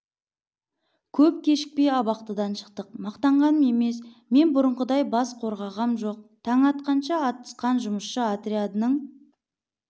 көп кешікпей абақтыдан шықтық мақтанғаным емес мен бұрынғыдай бас қорғағам жоқ таң атқанша атысқан жұмысшы отрядының